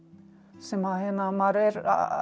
sem maður er